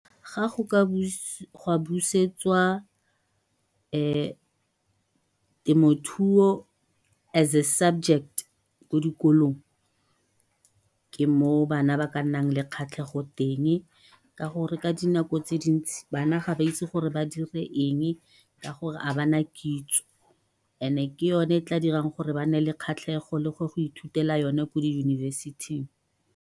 Ga busetswa temothuo as a subject ko dikolong, ke moo bana ba ka nnang le kgatlhego teng. Ka gore ka dinako tse dintsi, bana ga ba itse gore ba dire eng ka gore ha bana kitso. Ene ke yone tla dirang gore ba ne le kgatlhego le gwa go ithutela yone ko di yunibesithing.